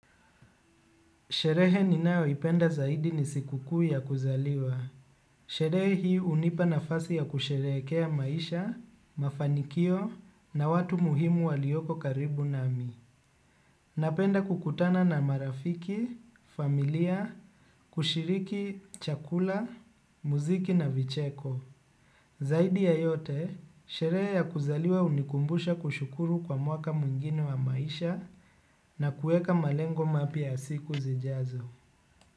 Sherehe ninao ipenda zaidi nisikuku ya kuzaliwa. Sherehe hii unipa nafasi ya kusherekea maisha, mafanikio na watu muhimu walioko karibu nami. Napenda kukutana na marafiki, familia, kushiriki, chakula, muziki na vicheko. Zaidi ya yote, sherehe ya kuzaliwa unikumbusha kushukuru kwa mwaka muingine wa maisha na kueka malengo mapiya siku zijazo.